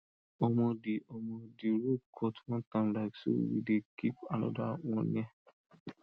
omo the omo the rope cut one time like so we dey keep another one near